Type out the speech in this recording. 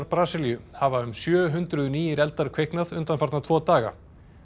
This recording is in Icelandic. Brasilíu hafa um sjö hundruð nýir eldar kviknað undanfarna tvo daga